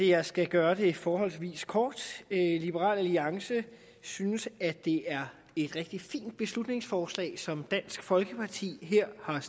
jeg skal gøre det forholdsvis kort liberal alliance synes at det er et rigtig fint beslutningsforslag som dansk folkeparti her har